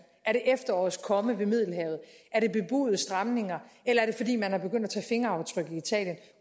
er det efterårets komme ved middelhavet er det bebudede stramninger eller er det fordi man er begyndt at tage fingeraftryk i italien